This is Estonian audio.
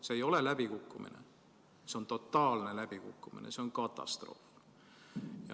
See ei ole läbikukkumine, see on totaalne läbikukkumine, see on katastroof.